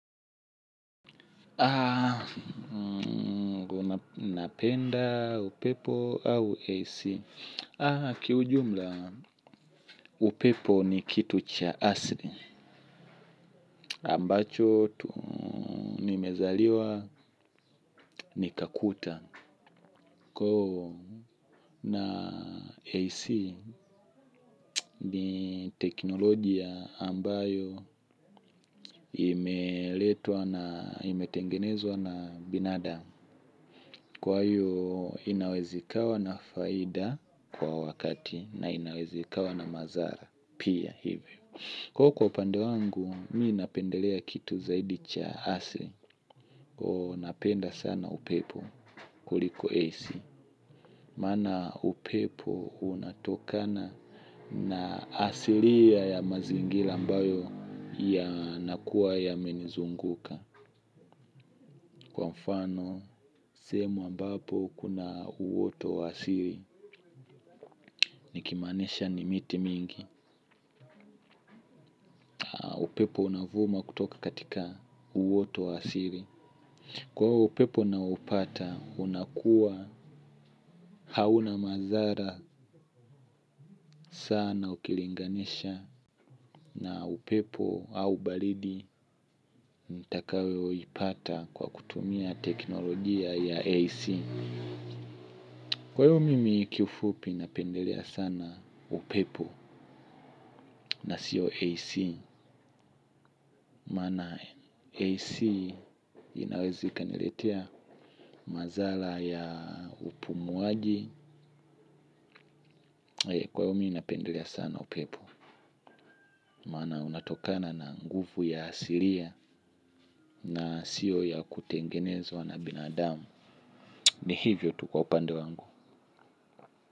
Napenda upepo au AC kiujumla upepo ni kitu cha asli ambacho tu nimezaliwa nikakuta koo na AC ni teknolojia ambayo imeletwa na imetengenezwa na binadam. Kwa hiyo inaweza ikawa na faida kwa wakati na inaweza ikawa na mazara. Pia hivyo. Ko kwa upande wangu, mi napendelea kitu zaidi cha asli. Ko napenda sana upepo kuliko ac. Maana upepo unatokana na asilia ya mazingila ambayo yanakuwa yamenizunguka. Kwa mfano sehemu ambapo kuna uwoto wa asili nikimaanisha ni miti mingi. Upepo unavuma kutoka katika uwoto wa asili. Kwa ivo upepo nao upata unakua hauna mazara sana ukilinganisha na upepo au balidi. Ntakayo ipata kwa kutumia teknolojia ya AC. Kwa ivo mimi kiufupi napendelea sana upepo na sio AC. Maana AC inaweza ikaniletea mazala ya upumuaji. Kwayo mimi napendelea sana upepo. Maana unatokana na nguvu ya asilia na siyo ya kutengenezwa na binadamu. Ni hivyo tu kwa upande wangu.